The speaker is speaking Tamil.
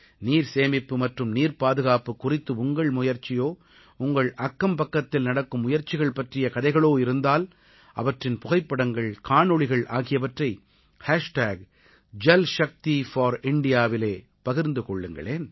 நீர்சேமிப்பு மற்றும் நீர்ப்பாதுகாப்பு குறித்து உங்கள் முயற்சியோ உங்கள் அக்கம்பக்கத்தில் நடக்கும் முயற்சிகள் பற்றிய கதைகளோ இருந்தால் அவற்றின் புகைப்படங்கள் காணொளிகள் ஆகியவற்றை jalshakti4Indiaவிலே பகிர்ந்து கொள்ளுங்களேன்